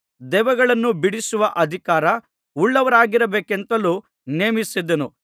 ದೆವ್ವಗಳನ್ನು ಬಿಡಿಸುವ ಅಧಿಕಾರ ಉಳ್ಳವರಾಗಿರಬೇಕೆಂತಲೂ ನೇಮಿಸಿದನು